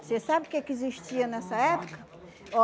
Você sabe o que que existia nessa época?